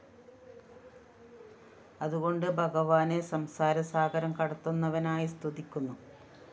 അതുകൊണ്ടു ഭഗവാനെ സംസാരസാഗരം കടത്തുന്നവനായി സ്തുതിക്കുന്നു